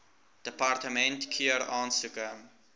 departement keur aansoeke